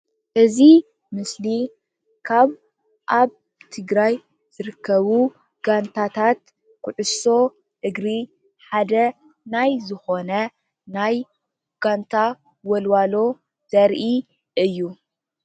እዚ ምስሊ ካብ ኣብ ትግራይ ዝርከቡ ጋንታታት ኩዕሶ እግሪ ሓደ ናይ ዝኾነ ናይ ጋንታ ወልዋሎ ዘርኢ እዩ።